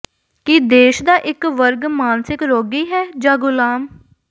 ਕੀ ਦੇਸ਼ ਦਾ ਇਕ ਵਰਗ ਮਾਨਸਿਕ ਰੋਗੀ ਹੈ ਜਾਂ ਗੁਲਾਮ